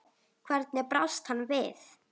Hvernig brást hann við?